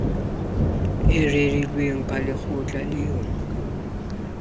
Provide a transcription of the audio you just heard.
e rerilweng ka lekgetlo le